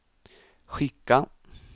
skicka